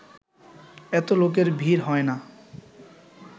এত লোকের ভিড় হয় না